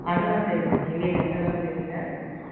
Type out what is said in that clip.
அதெல்லாம் தெரியல நெய்வேலில எந்த இடம்னு தெரியல